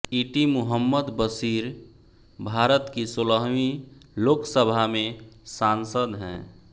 इटी मुहम्मद बशीर भारत की सोलहवीं लोकसभा में सांसद हैं